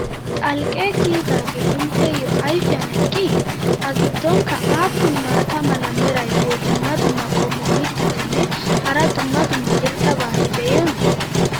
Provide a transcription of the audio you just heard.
xalqqee kiyidaagee intteyoo ayfiyan eqqii? a giddonkka aappun maata mala meray diyo dumma dumma qommo mittatinne hara dumma dumma irxxabati de'iyoonaa?